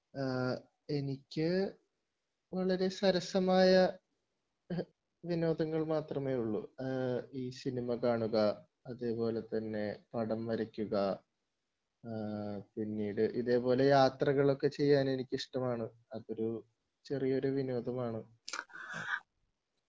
എനിക്ക് വളരെ സരസമായ വിനോദങ്ങൾ മാത്രമേയുള്ളു സിനിമാ കാണുക അതേപോലെതന്നെ പടം വരയ്ക്കുക ആഹ് പിന്നീട് യാത്രകളൊക്കെ ചെയ്യാൻ എനിക്കിഷ്ടമാണ് അതൊരു ചെറിയ വിനോദമാണ്